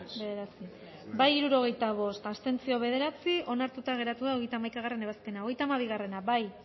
izan da hirurogeita hamalau eman dugu bozka hirurogeita bost boto aldekoa bederatzi abstentzio onartuta geratu da hogeita hamaikagarrena ebazpena hogeita hamabi bozkatu